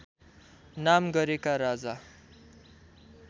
नाम गरेका राजा